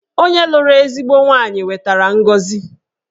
Onye lụrụ ezigbo nwaanyị wetara ngọzi